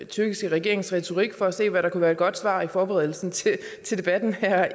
tyrkiske regerings retorik for at se hvad der kunne være et godt svar i forberedelsen til debatten her